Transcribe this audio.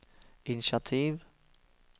initiativ